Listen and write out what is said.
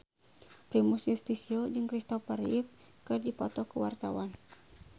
Primus Yustisio jeung Christopher Reeve keur dipoto ku wartawan